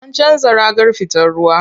An canza ragar fitar ruwa.